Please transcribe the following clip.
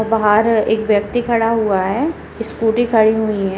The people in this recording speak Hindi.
बाहार एक व्यक्ति खड़ा हुआ है स्कूटी खड़ी हुई हैं।